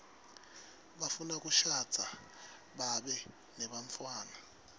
bafuna kushadza babe nebantfwana